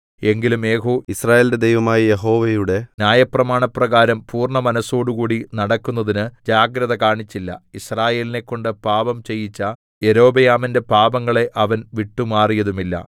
എങ്കിലും യേഹൂ യിസ്രായേലിന്റെ ദൈവമായ യഹോവയുടെ ന്യായപ്രമാണപ്രകാരം പൂർണ്ണമനസ്സോടുകൂടി നടക്കുന്നതിന് ജാഗ്രത കാണിച്ചില്ല യിസ്രായേലിനെക്കൊണ്ട് പാപം ചെയ്യിച്ച യൊരോബെയാമിന്റെ പാപങ്ങളെ അവൻ വിട്ടുമാറിയതുമില്ല